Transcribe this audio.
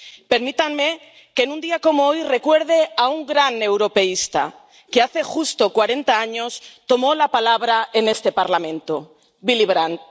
Permítanme que, en un día como hoy, recuerde a un gran europeísta que, hace justo cuarenta años, tomó la palabra en este Parlamento Willy Brandt.